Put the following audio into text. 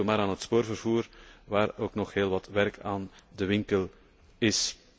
Denken we maar aan het spoorwegvervoer, waar ook nog heel wat werk aan de winkel is.